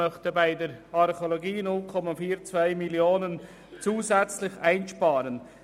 Ich möchte bei der Archäologie 0,42 Mio. Franken zusätzlich einsparen.